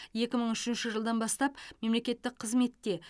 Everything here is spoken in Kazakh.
екі мың үшінші жылдан бастап мемлекеттік қызметте